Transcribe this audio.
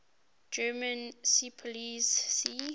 german seepolizei sea